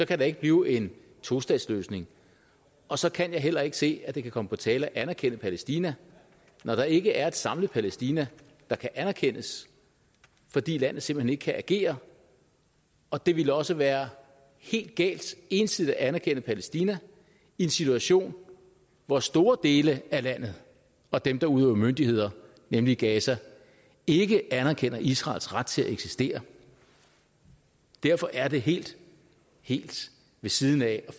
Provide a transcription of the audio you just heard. kan der ikke blive en tostatsløsning og så kan jeg heller ikke se at det kan komme på tale at anerkende palæstina når der ikke er et samlet palæstina der kan anerkendes fordi landet simpelt hen ikke kan agere og det ville også være helt galt ensidigt at anerkende palæstina i en situation hvor store dele af landet og dem der udøver myndighed nemlig gaza ikke anerkender israels ret til at eksistere derfor er det helt helt ved siden af at